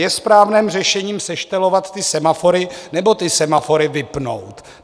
Je správným řešením seštelovat ty semafory, nebo ty semafory vypnout?